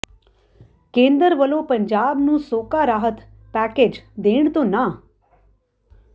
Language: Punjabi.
ਕੇਂਦਰ ਵੱਲੋਂ ਪੰਜਾਬ ਨੂੰ ਸੋਕਾ ਰਾਹਤ ਪੈਕੇਜ ਦੇਣ ਤੋਂ ਨਾਂਹ